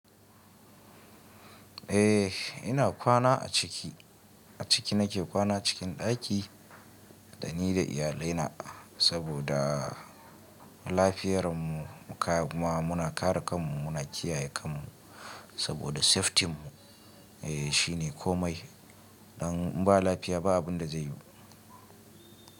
Eh ina kwana a ciki, a ciki nake kwana cikin ɗaki dani da iyalina saboda lafiyarmu muka muna kare kanmu muna kiyaye kanmu saboda safety mu eh shine komai. Dan in ba lafiya ba abun da zai yiyu.